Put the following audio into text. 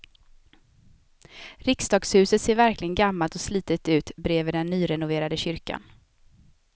Riksdagshuset ser verkligen gammalt och slitet ut bredvid den nyrenoverade kyrkan.